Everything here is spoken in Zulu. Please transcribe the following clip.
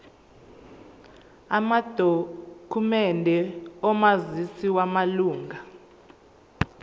amadokhumende omazisi wamalunga